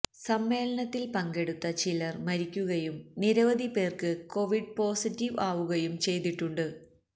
സമ്മേളനത്തില് പങ്കടുത്ത ചിലര് മരിക്കുകയും നിരവധി പേര്ക്ക് കൊവിഡ് പോസിറ്റീവ് ആവുകയും ചെയ്തിട്ടുണ്ട്